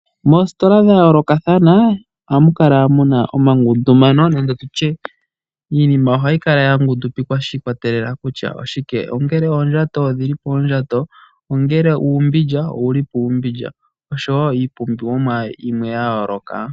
Moositola dha yoolokathana ohamu kala mu na omangundumano nande tutye iinima ohayi kala ya ngundupikwa shi ikwatelela kutya oshike. Ongele oondjato odhi li poondjato, ongele uumbilya owu li puumbilya oshowo iipumbiwa yimwe ya yooloka.